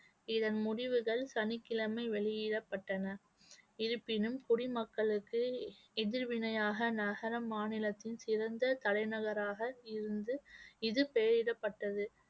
இதன் முடிவுகள் சனிக்கிழமை வெளியிடப்பட்டன இருப்பினும் குடிமக்களுக்கு எதிர்வினையாக நகர மாநிலத்தின் சிறந்த தலைநகராக இருந்து இது பெயரிடப்பட்டது